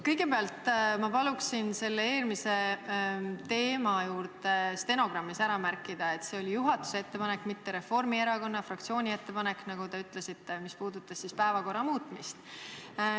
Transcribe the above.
Kõigepealt ma palun eelmise teema kohta stenogrammis ära märkida, et see oli juhatuse ettepanek, mitte Reformierakonna fraktsiooni ettepanek, nagu teie ütlesite – see ettepanek, mis puudutas päevakorra muutmist.